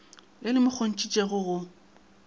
le le mo kgontšhitšego go